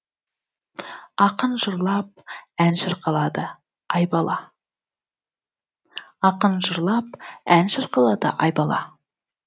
ақын жырлап ән шырқалады айбала